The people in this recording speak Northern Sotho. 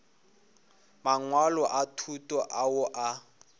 mangwalo a thuto ao a